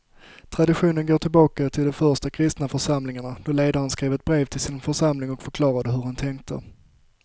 Traditionen går tillbaka till de första kristna församlingarna då ledaren skrev ett brev till sin församling och förklarade hur han tänkte.